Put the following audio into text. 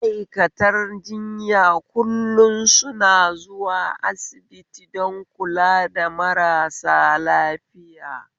Ma'aikatan jiyan kullum suna zuwa asibiti don kula da marasa lafiya